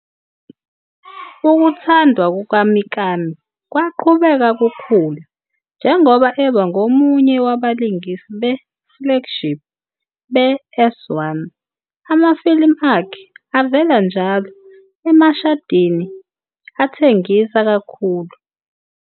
Ukuthandwa kukaMikami kwaqhubeka kukhula, njengoba eba ngomunye wabalingisi be- "flagship" be-S1, amafilimu akhe avela njalo emashadini athengisa kakhulu.